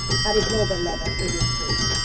At a global level it is crucial.